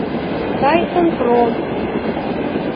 тайсон пром